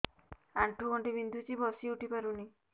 ଆଣ୍ଠୁ ଗଣ୍ଠି ବିନ୍ଧୁଛି ବସିଉଠି ପାରୁନି